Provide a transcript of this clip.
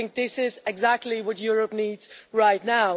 This is exactly what Europe needs right now.